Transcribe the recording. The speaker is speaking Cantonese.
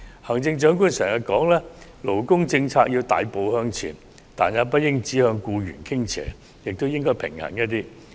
行政長官經常說勞工政策要大步向前，但也不應只向僱員傾斜，而應更加平衡。